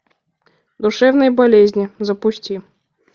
душевные болезни запусти